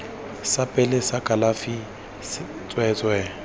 sa pele sa kalafi tsweetswee